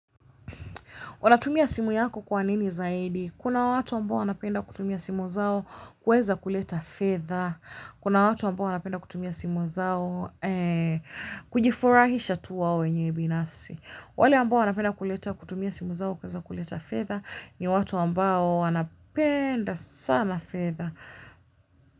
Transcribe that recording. Unatumia simu yako kwa nini zaidi? Kuna watu ambao wanapenda kutumia simu zao kuweza kuleta fedha kuna watu ambao wanapenda kutumia simu zao kujifurahisha tu hao wenyewe binafsi. Wale ambao wanapenda kuleta kutumia simu zao kuweza kuleta fedha ni watu ambao wanapenda sana fedha.